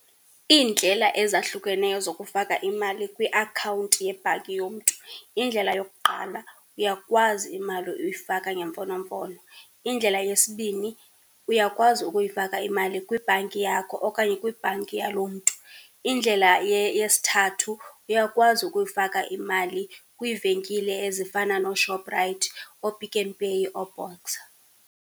Iindlela ezahlukeneyo zokufaka imali kwiakhawunti yebhanki yomntu, indlela yokuqala, uyakwazi imali uyifaka ngemfonomfono. Indlela yesibini, uyakwazi ukuyifaka imali kwibhanki yakho okanye kwibhanki yaloo mntu. Indlela yesithathu, uyakwazi ukuyifaka imali kwiivenkile ezifana nooShoprite, ooPick n Pay nooBoxer.